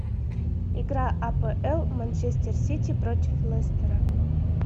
игра апл манчестер сити против лестера